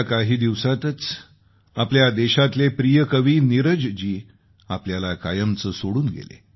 काही दिवसांपूर्वी आपल्या देशातले प्रिय कवी नीरज जी आपल्याला कायमचं सोडून गेले